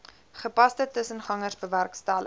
gepaste tussengangers bewerkstellig